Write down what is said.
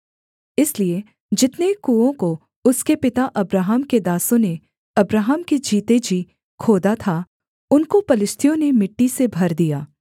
इसलिए जितने कुओं को उसके पिता अब्राहम के दासों ने अब्राहम के जीते जी खोदा था उनको पलिश्तियों ने मिट्टी से भर दिया